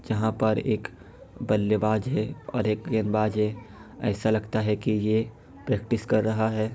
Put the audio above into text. यहा पर एक बल्ले बाज हे ओर एक गेंदबाज हे । एसा लगता हे की ये प्रेक्टिस कर रहा हे ।